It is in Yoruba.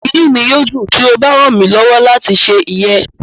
Inu mi yoo dun ti o ba ran mi lọwọ lati ṣe iyẹn.